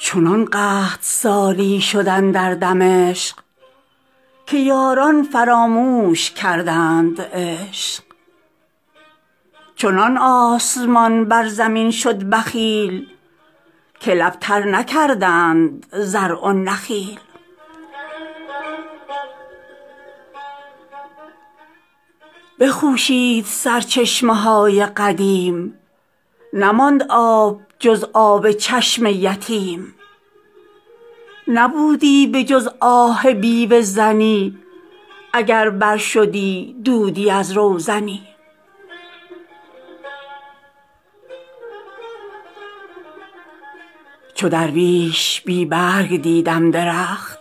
چنان قحط سالی شد اندر دمشق که یاران فراموش کردند عشق چنان آسمان بر زمین شد بخیل که لب تر نکردند زرع و نخیل بخوشید سرچشمه های قدیم نماند آب جز آب چشم یتیم نبودی به جز آه بیوه زنی اگر بر شدی دودی از روزنی چو درویش بی رنگ دیدم درخت